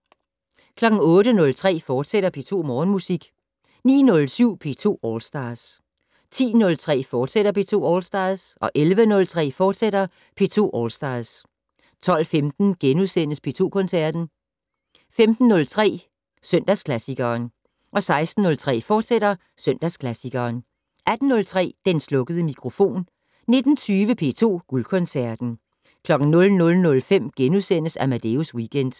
08:03: P2 Morgenmusik, fortsat 09:07: P2 All Stars 10:03: P2 All Stars, fortsat 11:03: P2 All Stars, fortsat 12:15: P2 Koncerten * 15:03: Søndagsklassikeren 16:03: Søndagsklassikeren, fortsat 18:03: Den slukkede mikrofon 19:20: P2 Guldkoncerten 00:05: Amadeus Weekend *